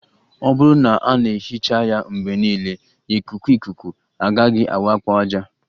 Ọ bụrụ na a na-ehicha ya mgbe niile, ikuku ikuku agaghị awakpo ájá